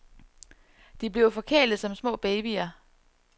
De bliver forkælede som små babyer.